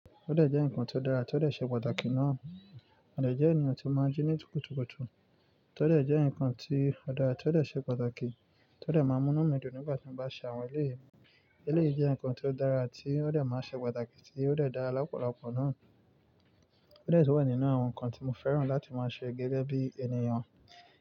Ódè jẹ́ ǹkan ti o dára, ti o dè ṣe pàtàkì náà. Mo de jẹ́ ènìyàn tí ó máa ń jí ní kùtùkùtù. Ódè jẹ́ ǹkan tí ó dára, ódè ṣe pàtàkì. Ódè máa ń mú inú mi dùn nígbà tí mo bá ṣe àwọn eléyii. Eléyii jẹ́ ǹkan tó dára tí o dè máa ń ṣe pàtàkì tí ó dè dára lọ́pọ̀lọpọ̀ náà. Ódè sì wà nínú àwọn ǹkan tí mo fẹ́ràn láti máa ṣe gẹ́gẹ́ bí ènìyàn.